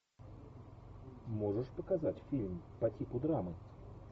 можешь показать фильм по типу драмы